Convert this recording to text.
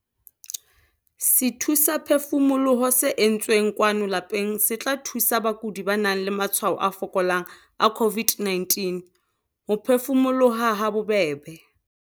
SETHUSAPHEFUMOLOHO se entsweng kwano lapeng se tla thusa bakudi ba nang le matshwao a fokolang a COVID-19 ho phefumoloha habobebe.